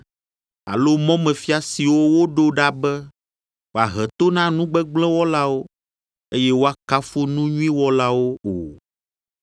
alo mɔmefia siwo woɖo ɖa be woahe to na nu gbegblẽ wɔlawo, eye woakafu nu nyui wɔlawo o.